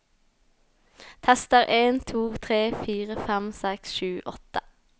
Tester en to tre fire fem seks sju åtte